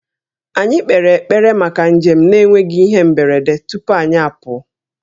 Anyị kpere ekpere maka njem na-enweghị ihe mberede tupu anyị apụọ